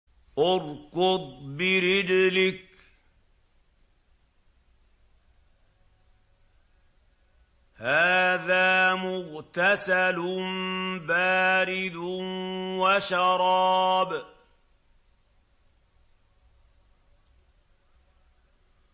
ارْكُضْ بِرِجْلِكَ ۖ هَٰذَا مُغْتَسَلٌ بَارِدٌ وَشَرَابٌ